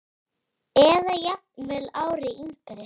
Eða jafnvel ári yngri.